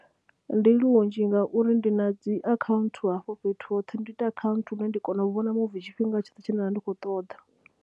Ndi lunzhi ngauri ndi na dzi akhaunthu hafho fhethu hoṱhe, ndi ita akhaunthu lune ndi kona u vhona muvi tshifhinga tshoṱhe tshine nda vha ndi khou ṱoḓa.